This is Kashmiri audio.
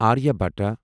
آریابھٹا